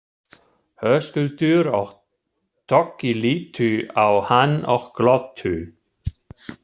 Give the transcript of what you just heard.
Höskuldur og Toggi litu á hann og glottu.